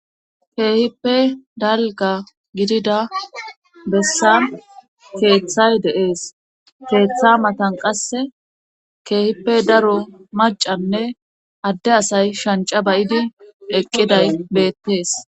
Keehippe dalga gidida bessan keeththay deees keeththa matan qasse keehippe daro macanne adde asay shanca bay'idi eqqiday beettees.